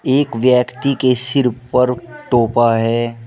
एक व्यक्ति के सीर पर टोपा है।